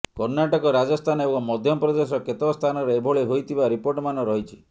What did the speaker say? କର୍ଣ୍ଣାଟକ ରାଜସ୍ଥାନ ଏବଂ ମଧ୍ୟପ୍ରଦେଶର କେତେକ ସ୍ଥାନରେ ଏଭଳି ହୋଇଥିବା ରିପୋର୍ଟମାନ ରହିଛି